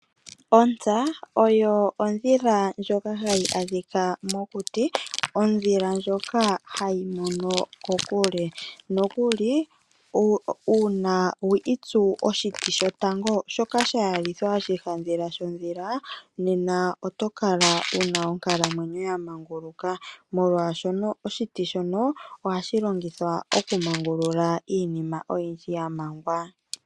Ontsa oyo ondhila ndjoka hayi adhika mokuti. Ondhila ndjoka hayi mono kokule. Nokuli uuna wi itsu oshiti shotango shoka sha yalithwa oshihandhila shondhila nena oto kala wu na onkalamwenyo ya manguluka, molwashono oshiti shono ohashi longithwa okumangulula iinima oyindji ya mangwa.